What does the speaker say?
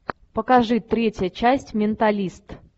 покажи третья часть менталист